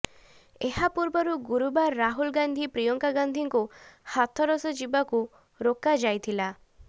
ଏହା ପୂର୍ବରୁ ଗୁରୁବାର ରାହୁଲ ଗାନ୍ଧୀ ପ୍ରିୟଙ୍କା ଗାନ୍ଧୀଙ୍କୁ ହାଥରସ ଯିବାକୁ ରୋକା ଯାଇଥିଲା